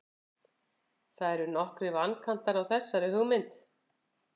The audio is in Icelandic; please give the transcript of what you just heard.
það eru nokkrir vankantar á þessari hugmynd